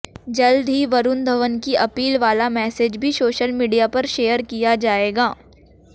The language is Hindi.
जल्द ही वरुण धवन की अपील वाला मैसेज भी सोशल मीडिया पर शेयर किया जाएगा